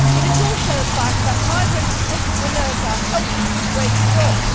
It is also a fact that migrant entrepreneurs are helping to create jobs.